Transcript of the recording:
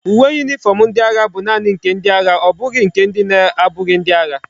Uwe uniform ndi agha bu naani nke ndi agha obughi nke ndi na abughi ndi agha